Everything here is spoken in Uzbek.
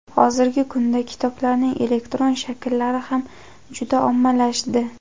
Hozirgi kunda kitoblarning elektron shakllari ham juda ommalashdi.